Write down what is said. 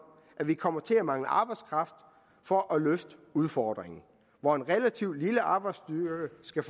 at vi kommer til at mangle arbejdskraft for at løfte udfordringen hvor en relativt lille arbejdsstyrke skal